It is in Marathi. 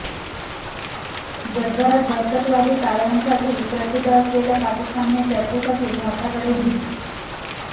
जगभरात दहशतवादी कारवायांसाठी प्रसिद्ध असेलल्या पाकिस्तानने चर्चेसाठी भारताकडे भीक